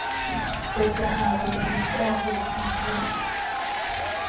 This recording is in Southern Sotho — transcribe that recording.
phethahalo le ka ho itshepa